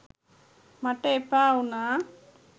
මට එපා වුණා.